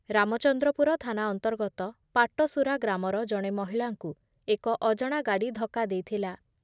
ରାମଚନ୍ଦ୍ରପୁର ଥାନା ଅନ୍ତର୍ଗତ ପାଟସୁରା ଗ୍ରାମର ଜଣେ ମହିଳାଙ୍କୁ ଏକ ଅଜଣା ଗାଡ଼ି ଧକ୍କା ଦେଇଥିଲା ।